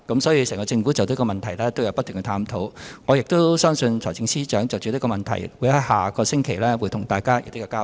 所以，整個政府不停地探討有關問題，我相信財政司司長也會在下星期就這問題對大家作出交代。